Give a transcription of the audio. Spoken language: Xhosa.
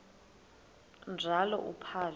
njalo uphalo akuba